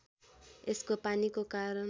यसको पानीको कारण